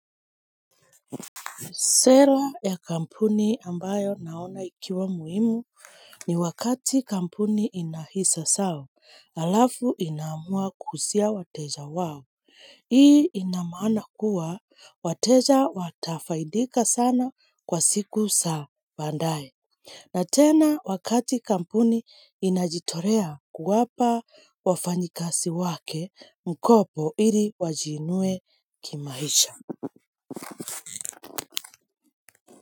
Sera ya kampuni ambayo naona ikiwa muhimu ni wakati kampuni inahisa zao, halafu inaamua kuuzia wateja wao. Hii ina maana kuwa wateja watafaidika sana kwa siku za badaye. Na tena wakati kampuni inajitolea kuwapa wafanyikazi wake mkopo ili wajiinue kimaisha.